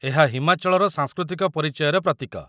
ଏହା ହିମାଚଳର ସାଂସ୍କୃତିକ ପରିଚୟର ପ୍ରତୀକ